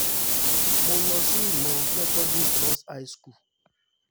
mo lọ sí ìmọ̀ methodist boys high school